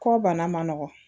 Kɔ bana man nɔgɔ